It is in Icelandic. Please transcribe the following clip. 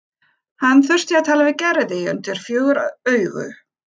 Hann þurfti að tala við Gerði undir fjögur augu.